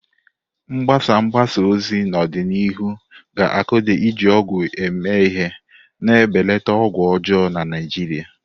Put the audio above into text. Mgbasa mgbasa ozi n'ọdịnihu ga-akụda iji ọgwụ eme ihe, na-ebelata ọgwụ ọjọọ na Naijiria.